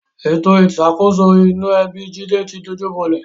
Ètò ìṣàkóso inú ẹbi Jídé ti dojúbolẹ̀